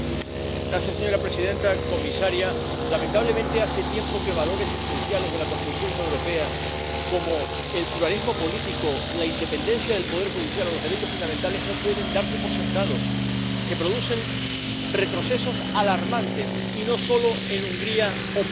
Señora presidenta, comisaria, lamentablemente hace tiempo que valores esenciales de la construcción europea, como el pluralismo político, la independencia del Poder Judicial o los derechos fundamentales, no pueden darse por sentados se producen retrocesos alarmantes, y no solo en Hungría o Polonia.